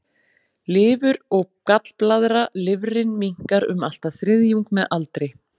Lifur og gallblaðra Lifrin minnkar um allt að þriðjung með aldri.